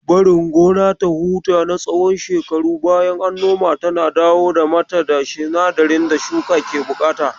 Barin gona ta huta na tsawon shekaru bayan an nomata na dawo mata da sinadiran da shuka ke buƙata.